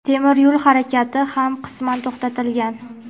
temir yo‘l harakati ham qisman to‘xtatilgan.